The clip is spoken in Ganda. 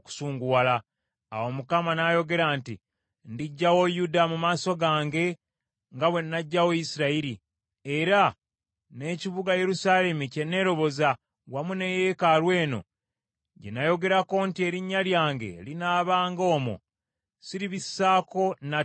Awo Mukama n’ayogera nti, “Ndiggyawo Yuda mu maaso gange nga bwe nnaggyawo Isirayiri, era n’ekibuga Yerusaalemi kye nneeroboza, wamu ne yeekaalu eno gye nayogerako nti, ‘Erinnya lyange linaabanga omwo,’ siribisaako nate mwoyo.”